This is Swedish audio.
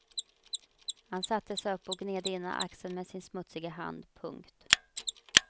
Han satte sig upp och gned ena axeln med sin smutsiga hand. punkt